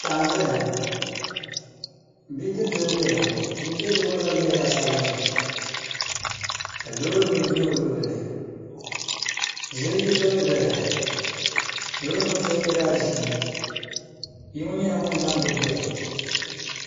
Piɛɣu n-ʒeya ŋɔ bidibila n-doya ŋɔ bidibila ŋɔ zabiri nyɛla zaɣ'sabinli ka loorinima za o luɣili ni ziliji soli n-doya ŋɔ loorinima ŋɔ shɛli nyɛla zaɣ'ʒee bia ŋɔ nyɛla ŋun la n-gbubi doya.